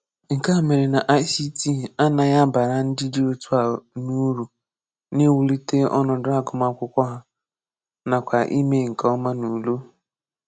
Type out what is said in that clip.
Nke a mere na ICT ànàghị àbárà ndị dị otu a ùru n’íwùlítè ọnọ̀dụ̀ àgụmàkụ́kwọ́ hà, nakwá ímé nke ọ́ma n’ùlé.